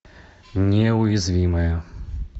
неуязвимые